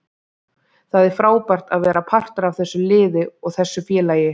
Það er frábært að vera partur af þessu liði og þessu félagi.